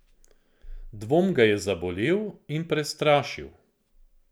Dvom ga je zabolel in prestrašil.